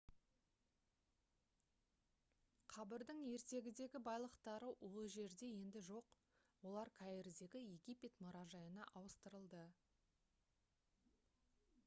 қабірдің ертегідегі байлықтары ол жерде енді жоқ олар каирдегі египет мұражайына ауыстырылды